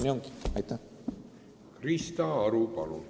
Krista Aru, palun!